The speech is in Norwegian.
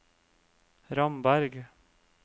Ramberg